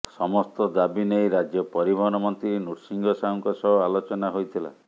ସମସ୍ତ ଦାବି ନେଇ ରାଜ୍ୟ ପରିବହନ ମନ୍ତ୍ରୀ ନୃସିଂହ ସାହୁଙ୍କ ସହ ଆଲୋଚନା ହୋଇଥିଲା